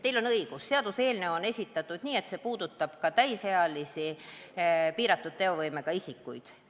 Teil on õigus, seaduseelnõu on sõnastatud nii, et see puudutab ka täisealisi piiratud teovõimega isikuid.